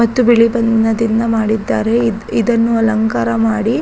ಮತ್ತು ಬಿಳಿ ಬಣ್ಣದಿಂದ ಮಾಡಿದ್ದಾರೆ ಇದ್ಇ-ದನ್ನು ಅಲಂಕಾರ ಮಾಡಿ --